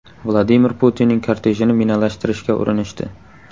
Vladimir Putinning kortejini minalashtirishga urinishdi.